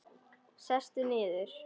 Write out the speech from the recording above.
Sestu niður.